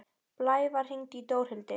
Blævar, hringdu í Dórhildi.